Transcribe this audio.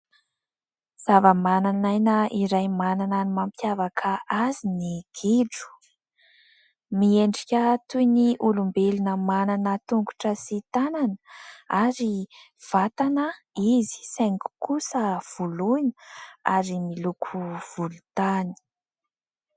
Zavamananaina iray manana ny mampiavaka azy ny gidro. Miendrika toy ny olombelona manana tongotra sy tanana ary vatana izy saingy kosa voloina ary miloko volontany.